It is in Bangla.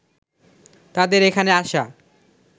তাদের এখানে আসা